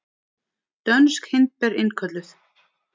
Dönsk hindber innkölluð